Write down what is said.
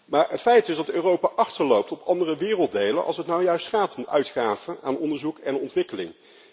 Maar het feit is dat Europa achterloopt op andere werelddelen als het nu juist gaat om uitgaven aan onderzoek en ontwikkeling.